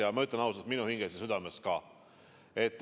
Ja ma ütlen ausalt, et minu hinges ja südames ka.